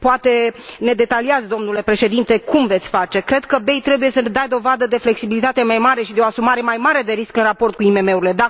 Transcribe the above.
Poate ne detaliați, domnule Președinte, cum veți face. Cred că BEI trebuie să dea dovadă de o flexibilitate mai mare și de o asumare mai mare de riscuri în raport cu IMM urile.